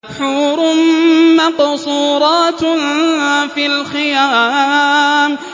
حُورٌ مَّقْصُورَاتٌ فِي الْخِيَامِ